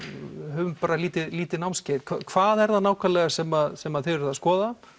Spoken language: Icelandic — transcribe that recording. höfum bara lítið lítið námskeið hvað er það nákvæmlega sem sem þið eruð að skoða